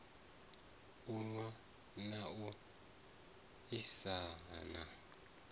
u nwa na u ahisana